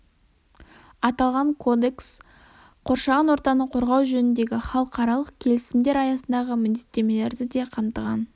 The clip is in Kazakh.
аталған кодекс қоршаған ортаны қорғау жөніндегі халықаралық келісімдер аясындагы міндеттемелерді де қамтыған